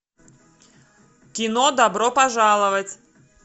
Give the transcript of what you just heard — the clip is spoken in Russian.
кино добро пожаловать